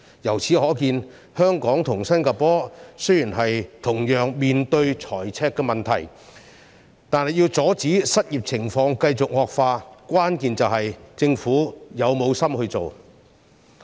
由此可見，香港與新加坡雖然同樣面對財赤問題，但要阻止失業情況繼續惡化，關鍵在於政府是否有心處理。